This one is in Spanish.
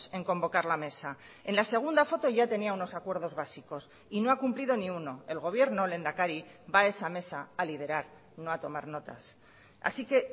en convocar la mesa en la segunda foto ya tenía unos acuerdos básicos y no ha cumplido ni uno el gobierno lehendakari va a esa mesa a liderar no a tomar notas así que